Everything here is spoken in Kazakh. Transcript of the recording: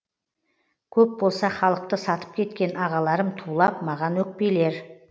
көп болса халықты сатып кеткен ағаларым тулап маған өкпелер